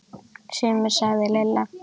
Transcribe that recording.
Sumir sagði Lilla.